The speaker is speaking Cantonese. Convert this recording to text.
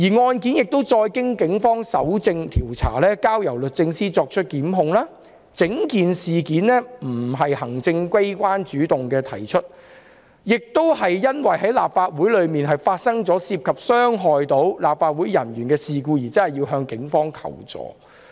案件交由警方搜證調查，並由律政司作出檢控，整件事並非由行政機關主動提出，而是因為立法會內發生涉及傷害立法會人員的事故，需要向警方求助。